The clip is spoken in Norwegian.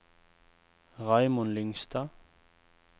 Raymond Lyngstad